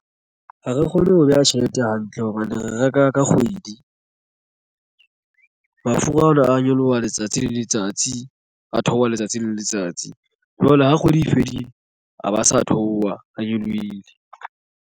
Ha re kgone ho beha tjhelete hantle hobane re reka ka kgwedi. Mafura ana a nyoloha letsatsi le letsatsi a theoha letsatsi le letsatsi jwale ha kgwedi e fedile a ba sa theoha a nyolohile.